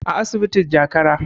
a asibitin jakara